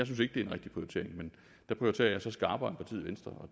den rigtige prioritering men der prioriterer jeg så skarpere end partiet venstre